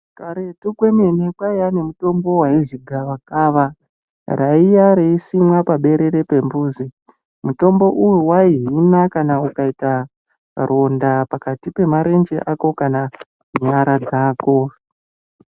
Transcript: Kareto komene kwaiva nemitombo yainzi gavakava raiya richisimwa paberere pembudzi, mutombo uyu waihina kana ukaita ronda pakati pemarenje ako kana nyara dzako.